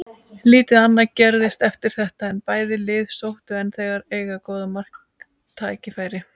Lítið annað gerðist eftir þetta en bæði lið sóttu en þess að eiga góð marktækifæri.